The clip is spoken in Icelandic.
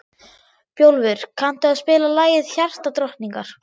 Bjólfur, kanntu að spila lagið „Hjartadrottningar“?